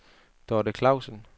Dorthe Klausen